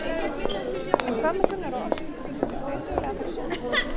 En hvað með Gunnar og Ástu, eru þau dugleg að fara í sund?